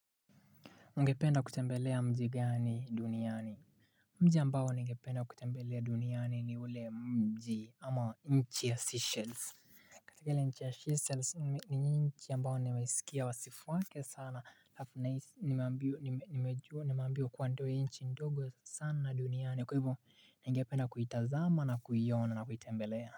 Ungependa kutembelea mji gani duniani? Mji ambao nigependa kutembelea duniani, ni ule mji ama nchi ya Seychelles. Ile nchi ya Seychelles ni nchi ambayo nimesikia wa sifu wake sana, haf nais nimeambiwa ndio nchi ndogo sana duniani, kwa hivo nigependa kuitazama, na kuiona na kuitembelea.